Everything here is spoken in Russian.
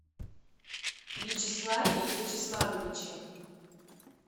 вячеславе вячеславовиче